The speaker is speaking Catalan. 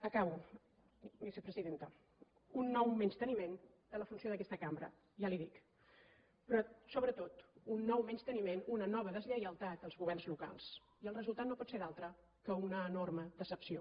acabo vicepresidenta un nou menysteniment de la funció d’aquesta cambra ja li ho dic però sobretot un nou menysteniment una nova deslleialtat als governs locals i el resultat no pot ser altre que una enorme decepció